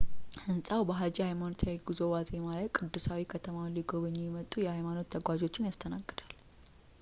ሕንጻው በሃጂ ሃይማኖታዊ ጉዞ ዋዜማ ላይ ቅዱሳዊ ከተማውን ሊጎበኙ የመጡ የሃይማኖት ተጓዦችን ያስተናግዳል